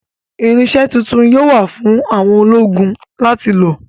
Irinṣẹ́ tuntun yóò wà fún àwọn ológun láti lò